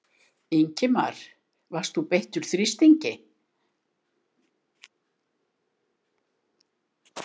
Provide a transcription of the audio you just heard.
Ingimar: Varst þú beittur þrýstingi?